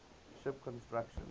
ship construction